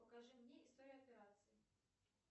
покажи мне историю операций